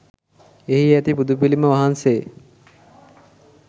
එහි ඇති බුදු පිළිම වහන්සේ